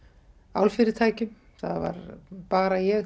álfyrirtækjum það var bara ég